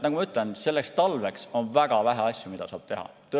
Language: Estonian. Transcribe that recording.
Nagu ma ütlen, on väga vähe asju, mida saab selleks talveks teha.